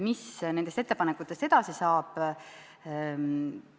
Mis nendest ettepanekutest edasi saab?